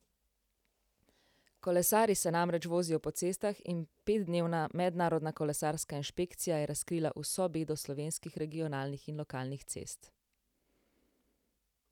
Kolesarji se namreč vozijo po cestah in petdnevna mednarodna kolesarska inšpekcija je razkrila vso bedo slovenskih regionalnih in lokalnih cest.